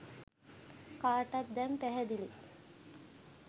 කාටත් දැන් පැහැදිලිය.